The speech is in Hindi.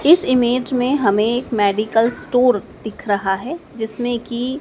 इस इमेज में हम एक मेडिकल स्टोर दिख रहा है जिसमें की--